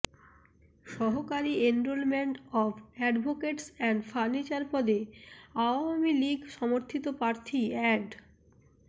সহকারী enrolment of advocates and furniture পদে আওয়ামী লীগ সমর্থিত প্রার্থী অ্যাড